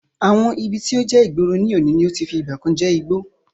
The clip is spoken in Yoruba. Àwọn ibi tí ó jẹ́ ìgboro ní òní ti fi ìgbàkan je igbó